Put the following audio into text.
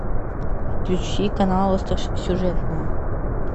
включи канал остросюжетное